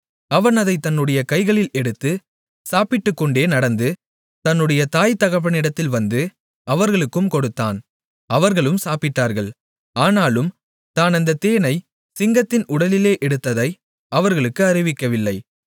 அவன் அதைத் தன்னுடைய கைகளில் எடுத்து சாப்பிட்டுக்கொண்டே நடந்து தன்னுடைய தாய்தகப்பனிடத்தில் வந்து அவர்களுக்கும் கொடுத்தான் அவர்களும் சாப்பிட்டார்கள் ஆனாலும் தான் அந்தத் தேனைச் சிங்கத்தின் உடலிலே எடுத்ததை அவர்களுக்கு அறிவிக்கவில்லை